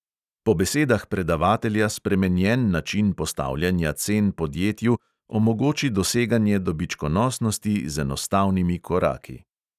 Po besedah predavatelja spremenjen način postavljanja cen podjetju omogoči doseganje dobičkonosnosti z enostavnimi koraki.